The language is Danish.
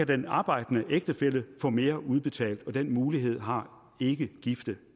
den arbejdende ægtefælle få mere udbetalt den mulighed har ikkegifte